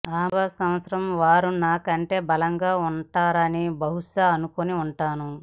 మూడవ సంవత్సరం వారు నాకంటే బలంగా ఉంటారని బహుశా అనుకుని ఉంటాను